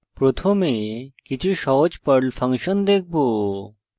প্রথমে কিছু সহজ perl ফাংশন দেখব